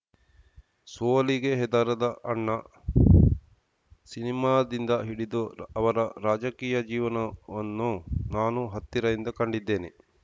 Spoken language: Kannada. ಸೋಲಿಗೆ ಹೆದರದ ಅಣ್ಣ ಸಿನಿಮಾದಿಂದ ಹಿಡಿದು ಅವರ ರಾಜಕೀಯ ಜೀವನವನ್ನೂ ನಾನು ಹತ್ತಿರದಿಂದ ಕಂಡಿದ್ದೇನೆ